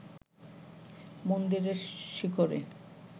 মন্দিরের শিখরে